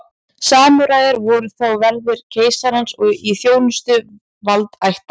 Samúræjar voru þá verðir keisarans og í þjónustu valdaætta.